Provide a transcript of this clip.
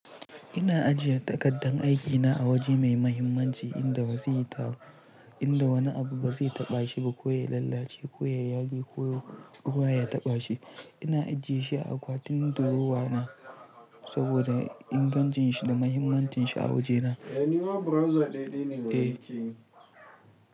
Ina ajiye takaddan aikina a waje mai mahimmanci inda ba zai yi ta, inda wani abu ba zai taɓa shi ba ko ya lallace ko ya yage ko ruwa ya taɓa shi. Ina ajiye shi a akwatin durowa na saboda ingancin shi da mahimmancin shi a wajena. Wane ma browser ɗaya ne kuke yi?